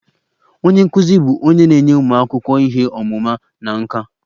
Onye nkụzi bụ onye na-enye ụmụ akwụkwọ ihe ọmụma na nkà.